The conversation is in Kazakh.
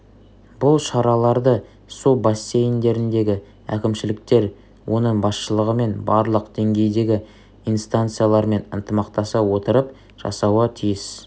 бұл шараларды су бассейндеріндегі әкімшіліктер оның басшылығымен барлық деңгейдегі инстанциялармен ынтымақтаса отырып жасауы тиіс